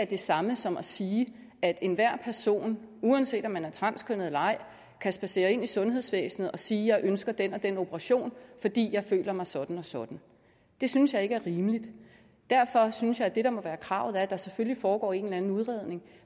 det samme som at sige at enhver person uanset om man er transkønnet eller ej kan spadsere ind i sundhedsvæsenet og sige jeg ønsker den og den operation fordi jeg føler mig sådan og sådan det synes jeg ikke er rimeligt derfor synes jeg at det der må være kravet er at der selvfølgelig foregår en eller anden udredning